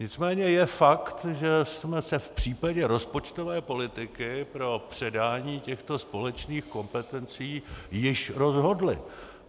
Nicméně je fakt, že jsme se v případě rozpočtové politiky pro předání těchto společných kompetencí již rozhodli.